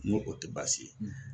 Ŋo o tɛ baasi ye